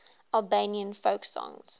albanian folk songs